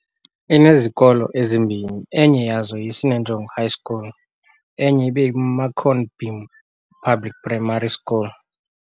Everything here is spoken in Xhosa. inezikolo ezimbini enye yazo yi Sinenjongo High School enye ibeyi Marconi beam public Primary School.